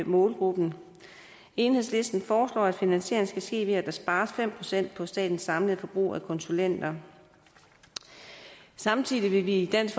målgruppen enhedslisten foreslår at finansieringen skal ske ved at der spares fem procent på statens samlede forbrug af konsulenter samtidig vil vi i dansk